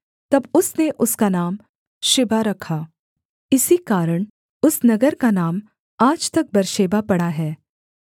तब उसने उसका नाम शिबा रखा इसी कारण उस नगर का नाम आज तक बेर्शेबा पड़ा है